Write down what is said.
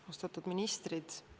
Austatud ministrid!